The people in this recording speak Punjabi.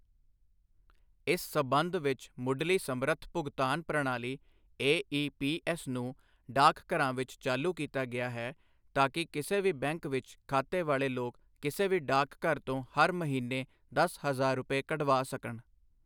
ਇਸ ਸਬੰਧ ਵਿੱਚ ਮੁਢਲੀ ਸਮਰੱਥ ਭੁਗਤਾਨ ਪ੍ਰਣਾਲੀ ਏਈਪੀਐੱਸ ਨੂੰ ਡਾਕਘਰਾਂ ਵਿੱਚ ਚਾਲੂ ਕੀਤਾ ਗਿਆ ਹੈ ਤਾਕਿ ਕਿਸੇ ਵੀ ਬੈਂਕ ਵਿੱਚ ਖਾਤੇ ਵਾਲੇ ਲੋਕ ਕਿਸੇ ਵੀ ਡਾਕਘਰ ਤੋਂ ਹਰ ਮਹੀਨੇ ਦਸ ਹਜ਼ਾਰ ਰੁਪਏ ਕਢਵਾ ਸਕਣ।